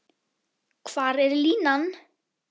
Hvar er línan?